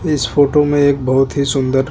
इस फोटो मे एक बोहोत ही सुंदर --